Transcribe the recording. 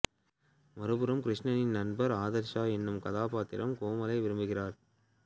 மறுபுறம் கிருஷ்ணனின் நண்பர் ஆதர்ஷ் எனும் கதாப்பத்திரம் கோமலை விரும்புகிறார்